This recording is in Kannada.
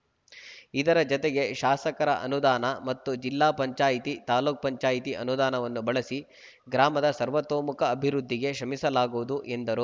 ಇದರ ಜತೆಗೆ ಶಾಸಕರ ಅನುದಾನ ಮತ್ತು ಜಿಲ್ಲಾ ಪಂಚಾಯಿತಿ ತಾಲೂಕು ಪಂಚಾಯಿತಿ ಅನುದಾನವನ್ನು ಬಳಸಿ ಗ್ರಾಮದ ಸರ್ವತೋಮುಖ ಅಭಿವೃದ್ಧಿಗೆ ಶ್ರಮಿಸಲಾಗುವುದು ಎಂದರು